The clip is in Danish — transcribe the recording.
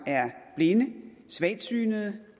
er blinde svagtsynede